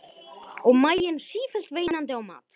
Og maginn sífellt veinandi á mat.